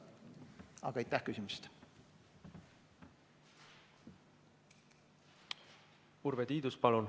Urve Tiidus, palun!